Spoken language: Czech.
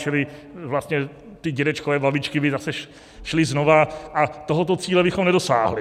Čili vlastně ti dědečkové, babičky by zase šli znovu, a tohoto cíle bychom nedosáhli.